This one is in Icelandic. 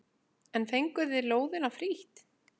En fenguð þið lóðina frítt?